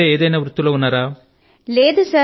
లేదా వేరే ఏదైనా వృత్తి లో ఉన్నారా